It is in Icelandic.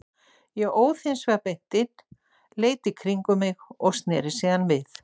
Ég óð hins vegar beint inn, leit í kringum mig og sneri síðan við.